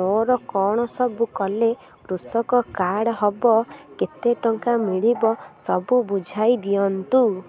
ମୋର କଣ ସବୁ କଲେ କୃଷକ କାର୍ଡ ହବ କେତେ ଟଙ୍କା ମିଳିବ ସବୁ ବୁଝାଇଦିଅନ୍ତୁ